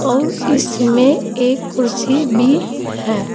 और इसमें एक कुर्सी भी है।